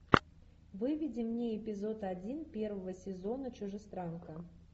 выведи мне эпизод один первого сезона чужестранка